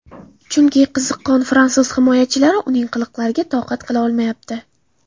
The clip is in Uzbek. Chunki, qiziqqon fransuz himoyachilari uning qiliqlariga toqat qila olmayapti.